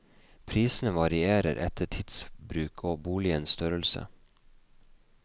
Prisene varierer etter tidsbruk og boligens størrelse.